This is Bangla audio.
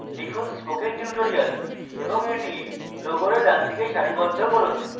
লিখুন spoken tutorial এবং এটি logo ডানদিকে সারিবদ্ধ করুন